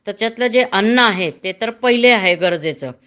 त्याच्यातलं जे अन्न आहे ते तर पहिले आहे गरजेच